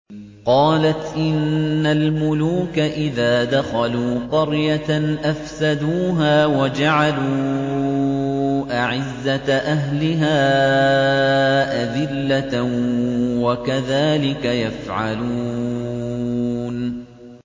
قَالَتْ إِنَّ الْمُلُوكَ إِذَا دَخَلُوا قَرْيَةً أَفْسَدُوهَا وَجَعَلُوا أَعِزَّةَ أَهْلِهَا أَذِلَّةً ۖ وَكَذَٰلِكَ يَفْعَلُونَ